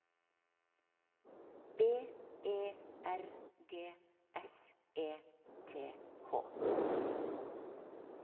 B E R G S E T H